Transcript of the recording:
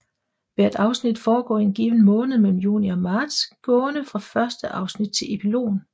Hvert afsnit foregår i en given måned mellem juni og marts gående fra første afsnit til epilogen